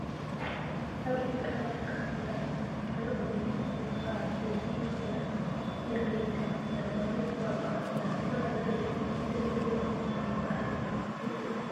ኣብ ኢትዮጵያ ካብ ዝርከባ ክልላት ሓንቲ ክልል ኦሮሞ እንትከውን ካብ ዓበይቲ ባዓላት ኢሬቻ እንዳተባሃለ ዝፅዋዕ ባዓል እንዳክበራ ዘረኢ እዩ። ንእግዝኣብሄር ዘመስግንሉ ባዓል ምኳኑ ትፈልጡ ዶ?